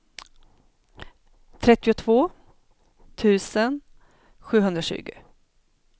trettiotvå tusen sjuhundratjugo